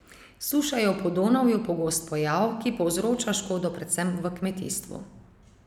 Suša je v Podonavju pogost pojav, ki povzroča škodo predvsem v kmetijstvu.